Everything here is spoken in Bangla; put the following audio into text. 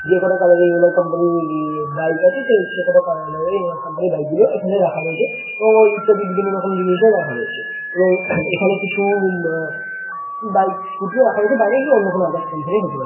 যে কটা কালার -এর এম .আই. কোম্পানি -র বাইক আছে সে সে সে কটা কালার -এর কোম্পানি -র বাইক গুলো এখানে রাখা রয়েছে এবং ইত্যাদি বিভিন্ন রকমের জিনিসও রয়েছে এবং এখানে কিছু আঁ বাইক স্কুল -টিও বাইরে অন্য কোনো আদার্স কোম্পানি হতে পারে ।